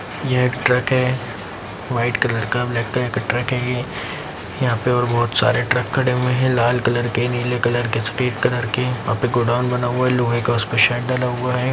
यह एक ट्रक है व्हाइट कलर का ब्लैक कलर का ट्रक है ये यहां पे और बहुत सारे ट्रक खड़े हुए है लाल कलर के नीले कलर के सफेद कलर के वहां पे गोडाउन बना हुआ है लोहे का उसपे शेड डला हुआ है।